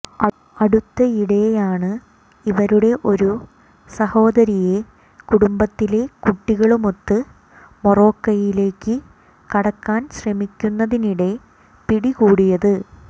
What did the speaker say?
അടുത്തയിടെയാണ് ഇവരുടെ ഒരു സഹോദരിയെ കുടുംബത്തിലെ കുട്ടികളുമൊത്ത് മൊറോക്കയിലേക്ക് കടക്കാൻ ശ്രമിക്കുന്നതിനിടെ പിടികൂടിയത്